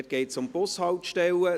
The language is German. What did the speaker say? Dort geht es um die Bushaltestellen: